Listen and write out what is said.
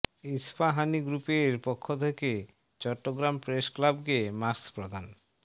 ইস্পাহানী গ্রুপের পক্ষ থেকে চট্টগ্রাম প্রেস ক্লাবকে মাস্ক প্রদান